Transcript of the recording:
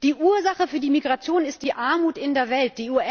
Die Ursache für die Migration ist die Armut in der Welt.